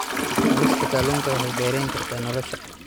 Cunista kalluunka waxay dheerayn kartaa nolosha.